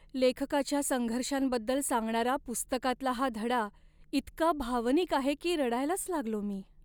लेखकाच्या संघर्षांबद्दल सांगणारा पुस्तकातला हा धडा इतका भावनिक आहे की रडायलाच लागलो मी.